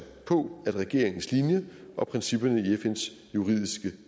på regeringens linje og principperne i fns juridiske